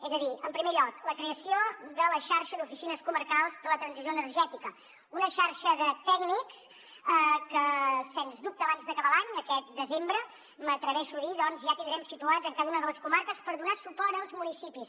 és a dir en primer lloc la creació de la xarxa d’oficines comarcals de la transició energètica una xarxa de tècnics que sens dubte abans d’acabar l’any aquest desembre m’atreveixo a dir doncs ja tindrem situats en cada una de les comarques per donar suport als municipis